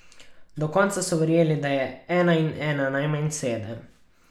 Do konca so verjeli, da je ena in ena najmanj sedem.